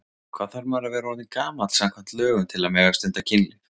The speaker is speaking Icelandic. Hvað þarf maður að vera orðinn gamall samkvæmt lögum til að mega stunda kynlíf?